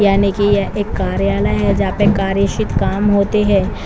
यानी की ये कार्यालय है जहाँ पर कार्यशित काम होते है।